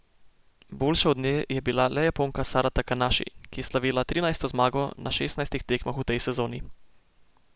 Boljša od nje je bila le Japonka Sara Takanaši, ki je slavila trinajsto zmago na šestnajstih tekmah v tej sezoni.